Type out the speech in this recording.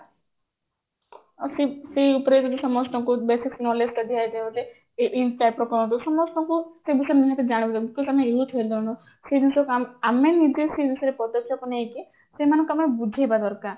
ସେଇ ସେଇ ଉପରେ ଯଦି ସମସ୍ତଙ୍କୁ basic knowledge ଟା ଦିଆଯାଏ ଗୋଟେ ଏଇ ଏଇ type ର କଣ ଗୋଟେ ସମସ୍ତଙ୍କୁ ସେଇ ବିଷୟରେ ନିହାତି ଜାଣିବା ସେଇ ଜିନିଷ ଆମେ ନିଜେ ସେଇ ଜିନିଷରେ ପଦକ୍ଷେପ ନେଇକି ସେଇମାନଙ୍କୁ ଆମେ ବୁଝେଇବା ଦରକାର